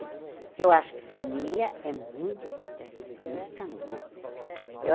Porque eu acho que família é muito importante, pelo menos para mim, né?